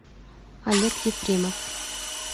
олег ефремов